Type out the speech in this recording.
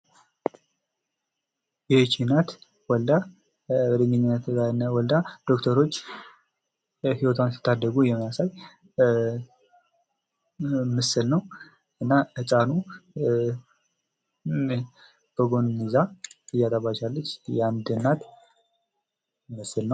ይህች እናት ወልዳ ዶክተሮች ሕይወቷን ሲታደጉት የሚያሳይ ምስል ነው:: እናም ሕፃኑን በጎን ይዛ እያጠባች ያለች የአንድ እናት ምስል ነው::